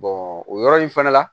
o yɔrɔ in fana la